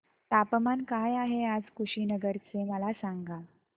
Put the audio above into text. तापमान काय आहे आज कुशीनगर चे मला सांगा